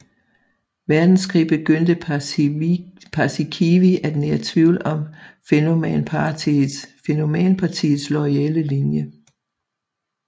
Verdenskrig begyndte Paasikivi at nære tvivl om Fennoman Partiets loyale linje